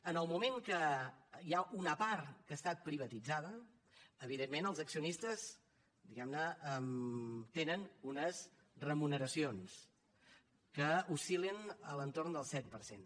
en el moment que hi ha una part que ha estat privatitzada evidentment els accionistes diguem ne tenen unes remuneracions que oscil·len a l’entorn del set per cent